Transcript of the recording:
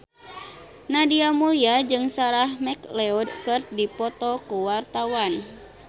Nadia Mulya jeung Sarah McLeod keur dipoto ku wartawan